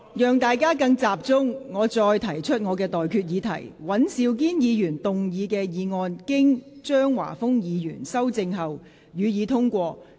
我提醒各位，現在的待決議題是：尹兆堅議員動議的議案，經張華峰議員修正後，予以通過。